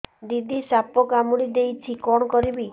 ଦିଦି ସାପ କାମୁଡି ଦେଇଛି କଣ କରିବି